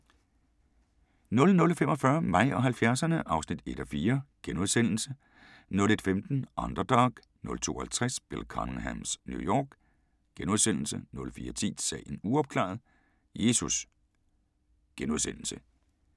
00:45: Mig og 70'erne (1:4)* 01:15: Underdog 02:50: Bill Cunninghams New York * 04:10: Sagen uopklaret – Jesus! *